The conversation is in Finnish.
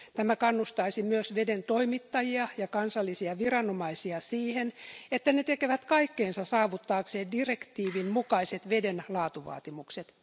Tämä kannustaisi myös veden toimittajia ja kansallisia viranomaisia siihen, että ne tekevät kaikkensa saavuttaakseen direktiivin mukaiset veden laatuvaatimukset.